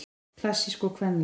Klassísk og kvenleg